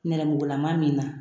Nɛrɛmugulama min na